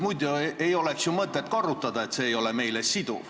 Muidu ei oleks ju mõtet korrutada, et see ei ole meile siduv.